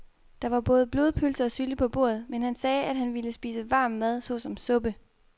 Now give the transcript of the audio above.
Der var både blodpølse og sylte på bordet, men han sagde, at han bare ville spise varm mad såsom suppe.